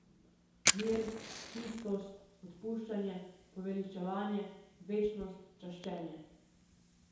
Mir, čistost, odpuščanje, poveličevanje, večnost, čaščenje.